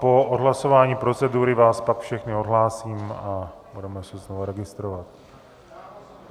Po odhlasování procedury vás pak všechny odhlásím a budeme se znovu registrovat.